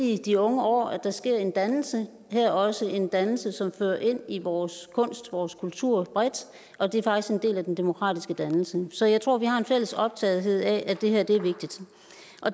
i de unge år at der sker en dannelse her også en dannelse som fører ind i vores kunst vores kultur bredt og det er faktisk en del af den demokratiske dannelse så jeg tror at vi har en fælles optagethed af at det her er vigtigt